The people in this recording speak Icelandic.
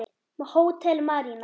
Hótel Marína.